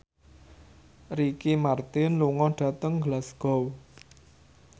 Ricky Martin lunga dhateng Glasgow